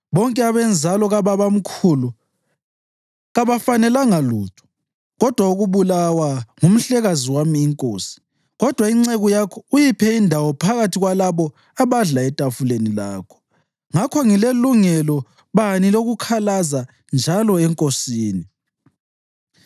Bonke abenzalo kababamkhulu kabafanelanga lutho kodwa ukubulawa ngumhlekazi wami inkosi, kodwa inceku yakho uyiphe indawo phakathi kwalabo abadla etafuleni lakho. Ngakho ngilelungelo bani lokukhalaza njalo enkosini?”